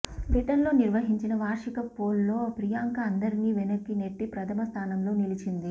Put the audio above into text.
బ్రిటన్లో నిర్వహించిన వార్షిక పోల్లో ప్రియాంక అందరినీ వెనక్కి నెట్టి ప్రథమ స్థానంలో నిలిచింది